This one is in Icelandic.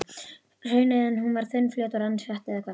Og hrauneðjan, hún var þunnfljótandi og rann hratt eða hvað?